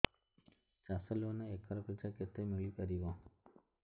ଚାଷ loan acre ପିଛା କେତେ ମିଳି ପାରିବ